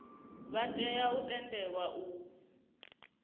vha tea u tendelwa u